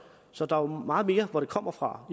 så der er jo meget mere hvor det kommer fra